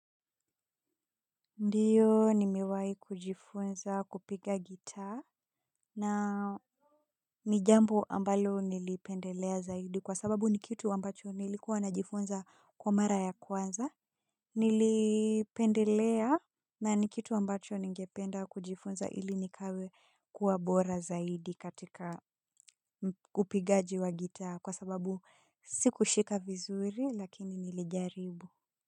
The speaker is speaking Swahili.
Ndiyo nimewahi kujifunza kupiga gitaa na ni jambo ambalo nilipendelea zaidi kwa sababu ni kitu ambacho nilikua najifunza kwa mara ya kwanza. Nilipendelea na ni kitu ambacho ningependa kujifunza ili nikawe kuwa bora zaidi katika upigaji wa gitaa kwa sababu sikushika vizuri lakini nilijaribu. Kwa hivyo.